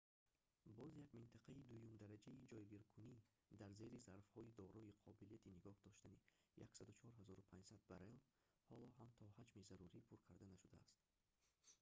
боз як минтақаи дуюмдараҷаи ҷойгиркунӣ дар зери зарфҳои дорои қобилияти нигоҳ доштани 104500 баррел ҳоло ҳам то ҳаҷми зарурӣ пур карда нашудааст